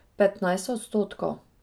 Petnajst odstotkov.